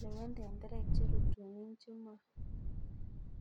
"Lewen tenderek cherutunin